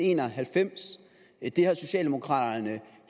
en og halvfems det har socialdemokraterne